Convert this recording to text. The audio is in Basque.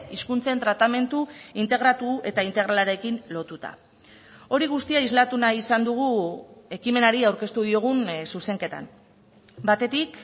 hizkuntzen tratamendu integratu eta integralarekin lotuta hori guztia islatu nahi izan dugu ekimenari aurkeztu diogun zuzenketan batetik